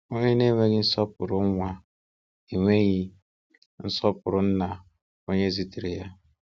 Onye na-enweghị nsọpụrụ nwa, enweghị nsọpụrụ nna onye zitere ya.